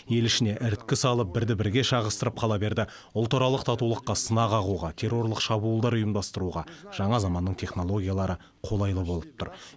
ел ішіне іріткі салып бірді бірге шағыстырып қала берді ұлтаралық татулыққа сынаға қағуға террорлық шабуылдар ұйымдастыруға жаңа заманның технологиялары қолайлы болып тұр